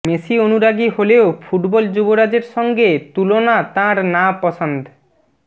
Messi অনুরাগী হলেও football যুবরাজের সঙ্গে তুলনা তাঁর না পসন্দ